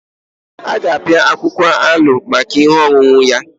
A ga-apịa akwụkwọ aloe maka ihe ọṅụṅụ ya.